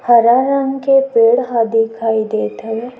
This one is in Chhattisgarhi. हरा रंग के पेड़ ह दिखाई देत हे।